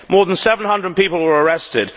More than 700 people were arrested.